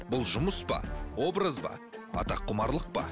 бұл жұмыс па образ ба атаққұмарлық па